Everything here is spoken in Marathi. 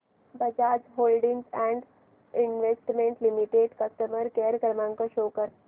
Bajaj holdings and investment limited customer care क्रमांक शो कर